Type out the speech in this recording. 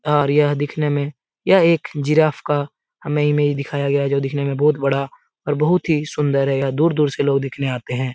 और यह दिखने में यह एक जिराफ़ का हमें इमेज दिखाया गया है जो दिखने में बहुत बड़ा और बहुत ही सुन्दर है यहाँ दूर-दूर से लोग देखने आते है।